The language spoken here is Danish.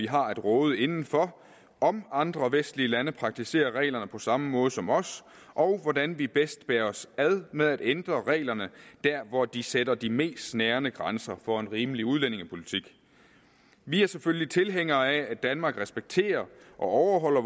har at råde inden for om andre vestlige lande praktiserer reglerne på samme måde som os og hvordan vi bedst bærer os ad med at ændre reglerne der hvor de sætter de mest snærende grænser for en rimelig udlændingepolitik vi er selvfølgelig tilhængere af at danmark respekterer og overholder